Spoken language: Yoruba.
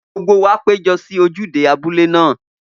Gbogbo wa péjọ sí ojúde abúlé náà.